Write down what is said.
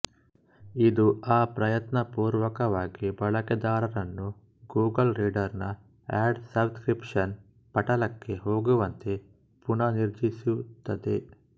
ಇದು ಅಪ್ರಯತ್ನಪೂರ್ವಕವಾಗಿ ಬಳಕೆದಾರರನ್ನು ಗೂಗಲ್ ರೀಡರ್ ನ ಆಡ್ ಸಬ್ ಸ್ಕ್ರಿಪ್ಷನ್ ಪಟಲಕ್ಕೆ ಹೋಗುವಂತೆ ಪುನರ್ನಿರ್ದೇಶಿಸುತ್ತದೆ